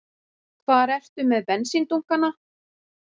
Hvar ertu með bensíndunkana?